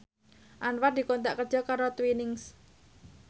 Anwar dikontrak kerja karo Twinings